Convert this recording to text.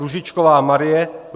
Růžičková Marie